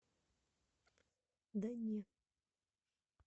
да не